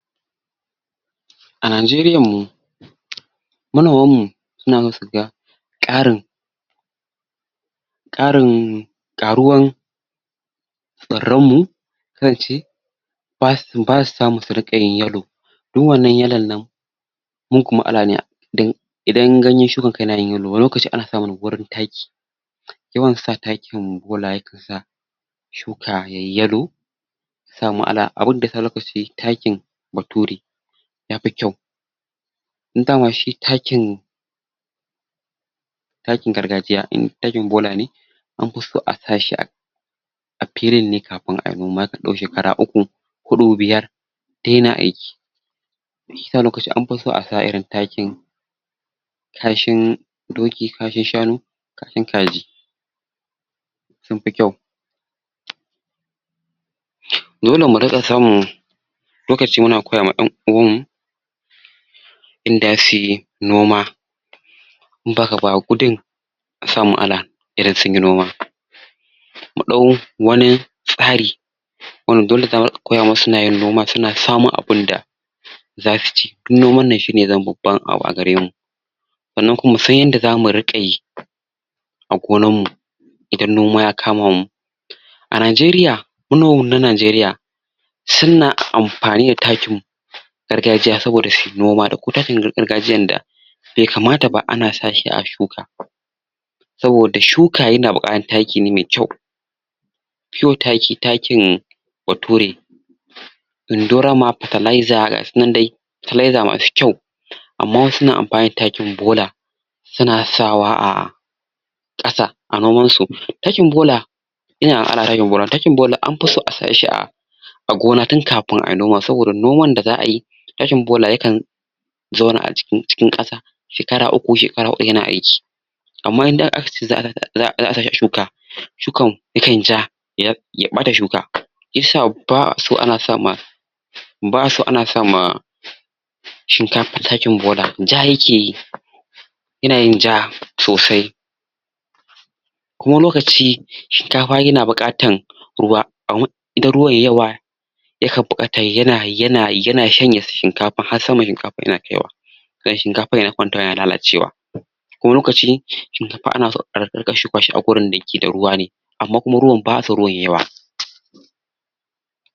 a Nanjeriyan mu manoman mu suna so suga ƙarin ƙarin ƙaruwan tsaran mu zan ce basu basu samu su riƙa yin yalo dun wanan yalon nan dan idan ganyen shukan ka yanayin yalo wani lokaci ana samu ne gurin taki yawan sa takin bola yakan sa shuka yayi yalo abun da yasa lokaci yayi takin bature yafi kyau indama shi takin takin gargajiya ɗin takin bolane an fiso asashi a a filin ne kafin ayi noma yakan ɗau shekara uku huɗu ,biyar daina aiki shiyasa alokacin anfi so asa irin takin kashen doki kashin shanu kashin kaji sunfi kyau dole muriƙa samun lokacin muna koya ma dan'uwan mu inda suyi noma as mu'ala idan sunyi noma mu ɗau wani tsari wanda dole za'a rika koya musu suna yin noma suna samun abunda zasu ci dun noman nan shine ya zamo babban abu agarem sanan kuma musan yanda zamu riƙa yi a gonan mu idan noma ya kama mu a najeriya ma noman na najeriya sunna anfani da takin gargajiya saboda shi noma da ko takin gargajiyan da bai kamata ba ana sashi a shuka saboda shuka yana buƙatan taki ne me kyau pure taki ,takin bature indorama fatalaiza gasu nan dai fatalaiza musu kyau amma wasu na anfani da takin bola suna sawa a ƙasa a niman su takin bola takin bola anfi so a sashi da a gona tun kafin ayi noman saboda noman da za'a yi takin bola yakan zauna acikin jikin ƙasa shekara uku, shekara hudu yana aiki amma indai akace za'a za'a sashi a shuka shukan yakanyi ja ya ke ɓata shuka shiyasa ba'a so ana sama ba'aso ana sama shinkafa takin bola ja yakeyi inayin ja sosai kuma wan lokaci shinkafa yana buƙatan ruwa amma idan ruwa yayi yawa ama da ruwan yawa ya kan bukata yana yana um yana shanye shinkafan har saman shinkafan yana kaiwa dan shinkafan ya kwanta yana lalacewa kuma wani lokaci shinkafan anaso ariƙa shukashi agurin da ke da ruwa ne amma kuma ruwan ba'aso ruwan yayi yawa